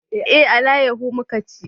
Eh, alayaho muka ci